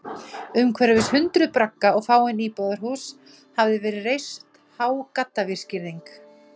Umhverfis hundruð bragga og fáein íbúðarhús hafði verið reist há gaddavírsgirðing.